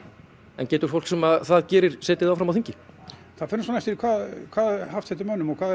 en getur fólk sem það gerir setið áfram á þingi það fer svona eftir því hvað er haft eftir mönnum og hvað